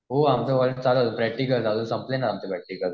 हो आमचं कॉलेज चालू आहे प्रॅक्टिकल संपले ना आमचे प्रॅक्टिकल.